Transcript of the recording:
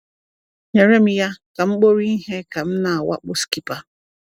"Nyere m ya," ka m kpuru ihe ka m na-awakpo Skipper.